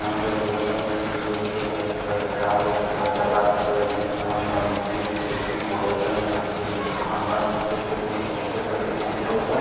यहाँ पे एक रोड है और इ रोड पे जो है एक चार चक्का है जो की चार चक्का के ऊपर एक गणेश भगवान का मूर्ति है जो की दिखने में बहुत अच्छे है यहां पे बिजली का खंभा भी है जो की दिखने मे बहुत अच्छे लग रहे है यहां पे रोड है।